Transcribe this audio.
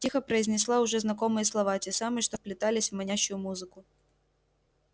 тихо произнесла уже знакомые слова те самые что вплетались в манящую музыку